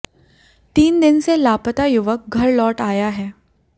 तीन दिन से लापता युवक घर लौट आया है